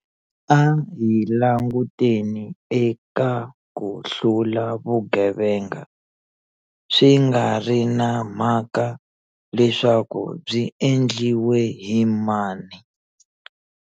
A hi languteni eka ku hlula vugevenga, swi nga ri na mhaka leswaku byi endliwe hi mani.